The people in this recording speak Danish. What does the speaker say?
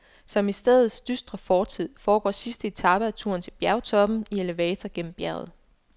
Som i stedets dystre fortid, foregår sidste etape af turen til bjergtoppen i elevator gennem bjerget.